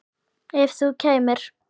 Ekki ef þú kæmir.